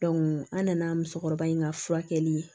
an nana musokɔrɔba in ka furakɛli